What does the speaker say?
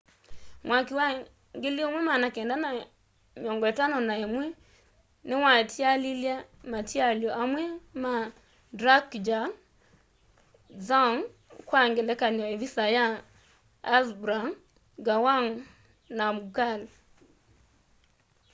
mwaki wa 1951 niwatialilye matialyo amwe ma drukgyal dzong kwa ngelekany'o ivisa ya zhabrung ngawang namgyal